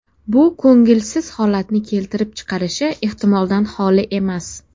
Bu ko‘ngilsiz holatni keltirib chiqarishi ehtimoldan xoli emas.